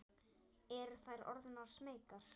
Eru þær orðnar smeykar?